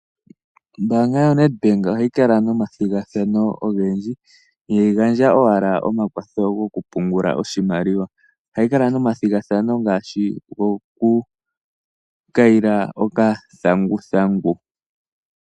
Ombaanga yoNedbank ohayi kala nomathigathano ogendji, ihayi gandja owala omakwatho gokupungula oshimaliwa. Ohayi kala nomathigathano ngaashi gokukayila okathanguthangu.